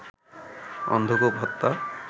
অন্ধকূপ হত্যা